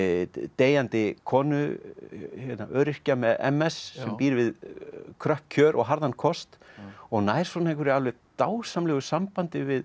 deyjandi konu öryrkja með m s sem býr við kröpp kjör og harðan kost og nær svona einhverju alveg dásamlegu sambandi við